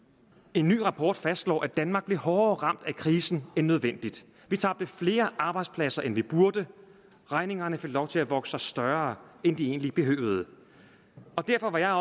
en ny rapport fastslår at danmark blev hårdere ramt af krisen end nødvendigt vi tabte flere arbejdspladser end vi burde og regningerne fik lov til at vokse sig større end de egentlig behøvede derfor var jeg